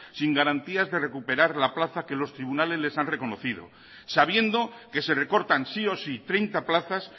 sin garantías de recuperar la plaza que los tribunales les han reconocido sabiendo que se recortan sí o sí treinta plazas